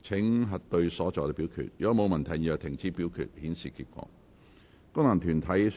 如果沒有問題，現在停止表決，顯示結果。